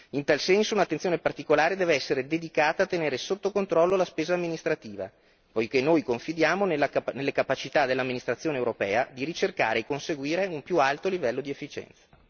In tal senso, un'attenzione particolare deve essere dedicata a tenere sotto controllo la spesa amministrativa, poiché noi confidiamo nelle capacità dell'amministrazione europea di ricercare e conseguire un più alto livello di efficienza.